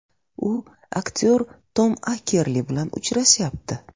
U aktyor Tom Akerli bilan uchrashyapti.